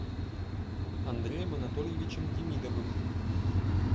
андреем анатольевичем демидовым